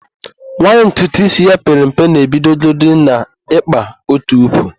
Nwaanyị ntutuísí ya pere mpe na-ebidogodi n'ịkpa otukwu.